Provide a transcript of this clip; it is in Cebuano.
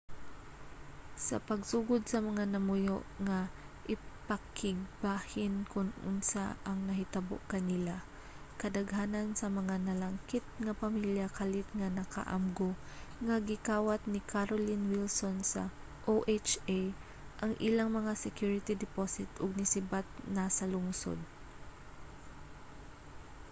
sa pagsugod sa mga namuyo nga ipakigbahin kon unsa ang nahitabo kanila kadaghanan sa mga nalangkit nga pamilya kalit nga naka-amgo nga gikawat ni carolyn wilson sa oha ang ilang mga security deposit ug nisibat na sa lungsod